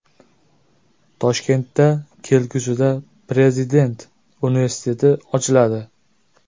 Toshkentda kelgusida Prezident universiteti ochiladi.